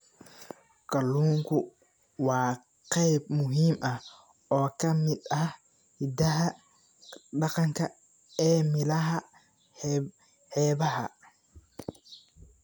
Kalluunku waa qayb muhiim ah oo ka mid ah hidaha dhaqanka ee meelaha xeebaha ah.